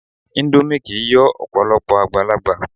Índómì kìí yọ Ọ̀pọ̀lọ́pọ̀ àgbàlagbà